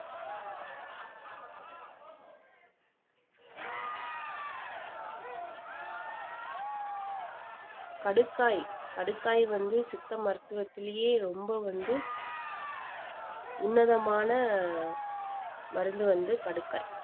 கடுக்காய் கடுக்காய் வந்து சித்த மருத்துவத்திலயே ரொம்ப வந்து உன்னதமான மருந்து வந்து கடுக்காய்